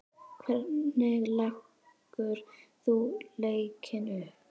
Hvernig leggur þú leikinn upp?